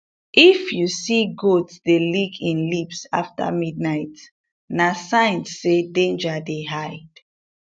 if you see goat dey lick im lips after midnight na sign say danger dey hide